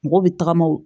Mɔgɔw bɛ tagama